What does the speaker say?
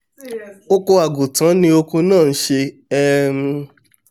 oko àgùntan ni oko náà ń ṣe um